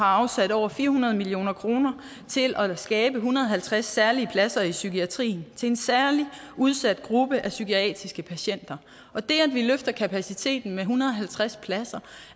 afsat over fire hundrede million kroner til at skabe en hundrede og halvtreds særlige pladser i psykiatrien til en særlig udsat gruppe af psykiatriske patienter det at vi løfter kapaciteten med en hundrede og halvtreds pladser